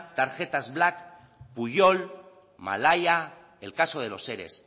tarjetas black pujol malaya el caso de los ere